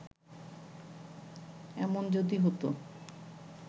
এমন যদি হত